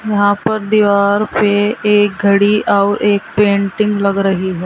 यहां पर दीवार पे एक घड़ी और एक पेंटिंग लग रही है।